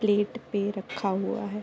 Plate पे रखा हुआ है।